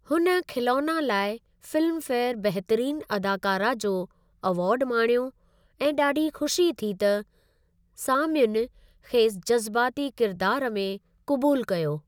हुन ख़िलोना लाइ फ़िल्म फेयर बहितरीनु अदाकारा जो एवार्ड माणियो ऐं ॾाढी ख़ुशी थी त सामईयुन खेसि जज़्बाती किरिदारु में कबूल कयो।